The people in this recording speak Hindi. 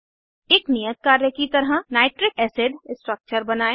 एक नियत कार्य की तरह नाइट्रिक एसिड स्ट्रक्चर बनायें